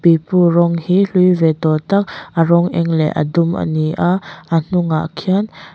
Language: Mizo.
pipu rawng hi hlui ve tawh tak a rawng eng leh a dum ani a a hnungah khian--